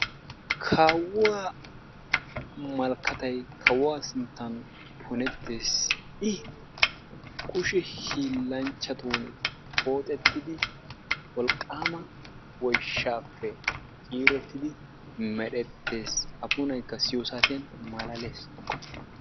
Kawuwaa malkattay kawuwaa sinttan punettes i kushshe hillanchchatuni pooxetidi wolqamma woyshshaappe ciirettidi merettes a punaykka siyiyoo saatiyaani maalales.